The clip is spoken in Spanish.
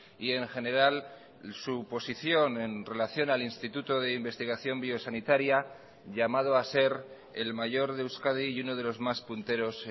y en general su posición en relación al instituto de investigación biosanitaria llamado a ser el mayor de euskadi y uno de los más punteros